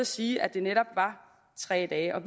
sige at det netop var tre dage og